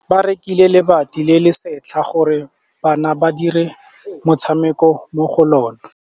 Ba rekile lebati le le setlha gore bana ba dire motshameko mo go lona.